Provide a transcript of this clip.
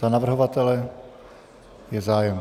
Za navrhovatele je zájem.